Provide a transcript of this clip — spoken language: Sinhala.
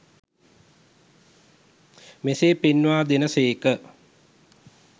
මෙසේ පෙන්වා දෙන සේක